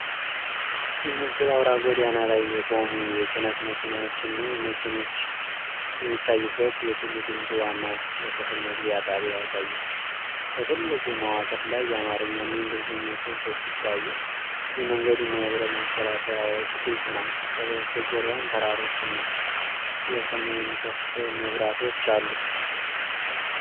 ይህ ምስል አውራ ጎዳና ላይ የቆሙ የጭነት መኪናዎችና መኪኖች የሚታዩበት የቱሉ ዲምቱ ዋና የክፍያ መግቢያ ጣቢያ ያሳያል። በትልቁ መዋቅር ላይ የአማርኛና የእንግሊዝኛ ጽሑፎች ሲታዩ፣ መንገዱና የብረት መከላከያዎች ግልጽ ናቸው፤ ከበስተጀርባም ተራሮችና የሰማይ ምሰሶ መብራቶች አሉ።